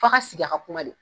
F'aw ka sigi, a ka kuma de